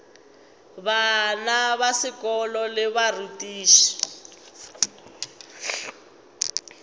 bana ba sekolo le barutiši